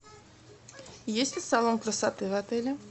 есть ли салон красоты в отеле